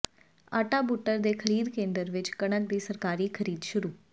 ਆਸਾ ਬੁੱਟਰ ਦੇ ਖ਼ਰੀਦ ਕੇਂਦਰ ਵਿਚ ਕਣਕ ਦੀ ਸਰਕਾਰੀ ਖ਼ਰੀਦ ਸ਼ੁਰੂ